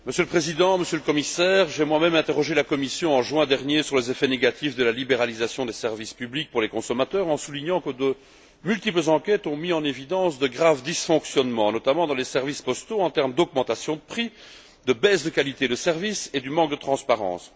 Monsieur le Président, Monsieur le Commissaire, j'ai moi même interrogé la Commission en juin dernier sur les effets négatifs de la libéralisation des services publics pour les consommateurs en soulignant que de multiples enquêtes ont mis en évidence de graves dysfonctionnements, notamment dans les services postaux, tels que des augmentations de prix, une baisse de qualité du service et un manque de transparence.